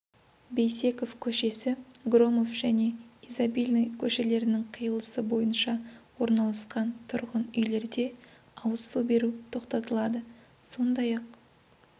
бейсеков көшесі громов және изобильный көшелерінің қиылысы бойынша орналасқан тұрғын үйлерде ауыз су беру тоқтатылады сондай-ақ